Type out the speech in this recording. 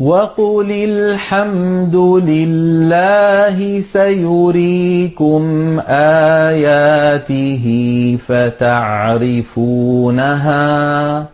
وَقُلِ الْحَمْدُ لِلَّهِ سَيُرِيكُمْ آيَاتِهِ فَتَعْرِفُونَهَا ۚ